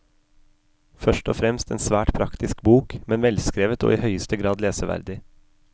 Først og fremst en svært praktisk bok, men velskrevet og i høyeste grad leseverdig.